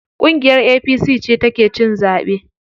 Ƙungiyar APC ce ta ke cin zaɓe.